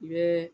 I bɛ